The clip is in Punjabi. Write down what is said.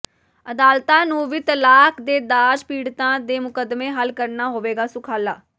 ੍ਹ ਅਦਾਲਤਾਂ ਨੂੰ ਵੀ ਤਲਾਕ ਤੇ ਦਾਜ ਪੀੜਤਾਂ ਦੇ ਮੁਕੱਦਮੇ ਹੱਲ ਕਰਨਾ ਹੋਵੇਗਾ ਸੁਖਾਲਾ